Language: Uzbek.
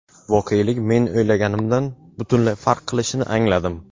voqelik men o‘ylaganimdan butunlay farq qilishini angladim.